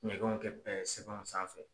Ɲɛgɛn kɛ sanfɛ.